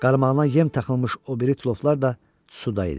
Qaramağına yem taxılmış o biri tulovlar da suda idi.